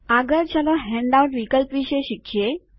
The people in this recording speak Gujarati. આગળ ચાલો હેન્ડઆઉટ વિકલ્પ વિષે શીખીએ